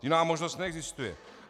Jiná možnost neexistuje.